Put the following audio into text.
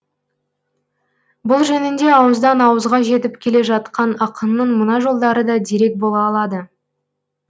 бұл жөнінде ауыздан ауызға жетіп келе жатқан ақынның мына жолдары да дерек бола алады